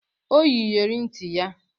O yi iyere nti ya